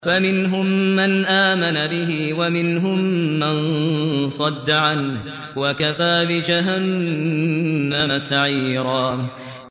فَمِنْهُم مَّنْ آمَنَ بِهِ وَمِنْهُم مَّن صَدَّ عَنْهُ ۚ وَكَفَىٰ بِجَهَنَّمَ سَعِيرًا